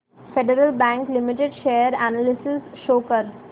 federal Bank Limited share analysis show कर